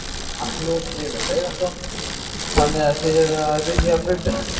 Magnús Hlynur Hreiðarsson: Þannig að þið eruð að ryðja brautina?